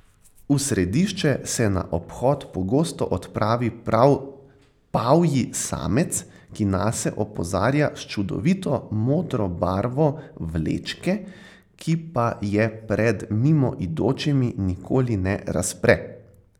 V središče se na obhod pogosto odpravi prav pavji samec, ki nase opozarja s čudovito modro barvo vlečke, ki pa je pred mimoidočimi nikoli ne razpre.